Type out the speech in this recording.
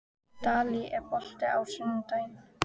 Dalí, er bolti á sunnudaginn?